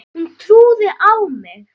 Hún trúði á mig.